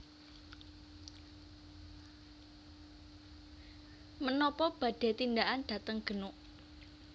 Menopo badhe tindakan dateng Genuk